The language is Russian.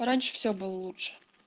раньше все было лучше